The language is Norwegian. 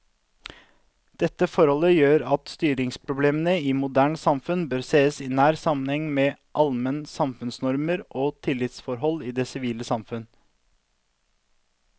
Dette forhold gjør at styringsproblemene i moderne samfunn må sees i nær sammenheng med allmenne samfunnsnormer og tillitsforhold i det sivile samfunn.